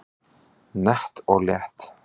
Nett og létt